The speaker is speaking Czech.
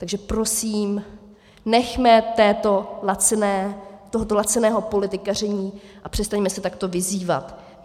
Takže prosím, nechme tohoto laciného politikaření a přestaňme se takto vyzývat.